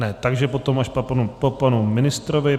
Ne, takže potom až po panu ministrovi.